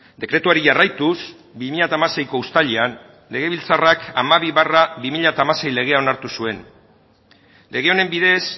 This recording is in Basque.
dekretuari jarraituz bi mila hamaseiko uztailean legebiltzarrak hamabi barra bi mila hamasei legea onartu zuen lege honen bidez